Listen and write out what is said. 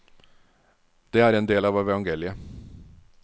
Det er en del av evangeliet.